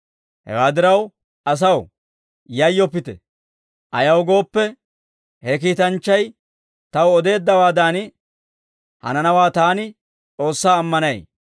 Hewaa diraw asaw, yayyoppite. Ayaw gooppe, he kiitanchchay taw odeeddawaadan hananawaa taani S'oossaa ammanay;